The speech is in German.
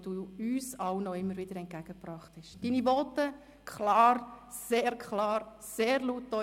Danke vielmals – den drei Regierungsräten für ihre Arbeit, den Gästen für ihr Erscheinen.